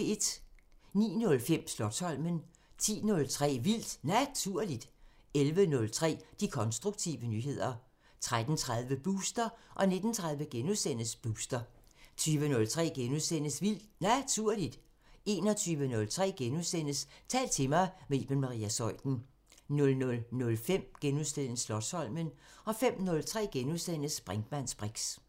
09:05: Slotsholmen 10:03: Vildt Naturligt 11:03: De konstruktive nyheder 13:30: Booster 19:30: Booster * 20:03: Vildt Naturligt * 21:03: Tal til mig – med Iben Maria Zeuthen * 00:05: Slotsholmen * 05:03: Brinkmanns briks *